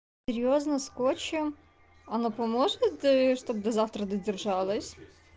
серьёзно скотчем оно поможет ээ чтоб до завтра до держалось